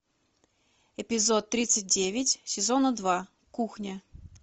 эпизод тридцать девять сезона два кухня